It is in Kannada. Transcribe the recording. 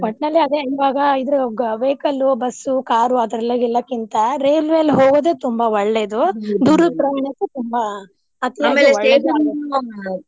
ಒಟ್ನಲ್ಲಿ ಅದೆ ಇವಾಗಾ ಇದ್ರು vehicle ಬಸ್ಸು car ಆ ತರದೆಲ್ಲ ಎಲ್ಲಕ್ಕಿಂತಾ ರೇಲ್ವೆಲಿ ಹೋಗೋದೇ ತುಂಬಾ ಒಳ್ಳೇದು. ಪ್ರಯಾಣಕ್ಕೆ ತುಂಬಾ .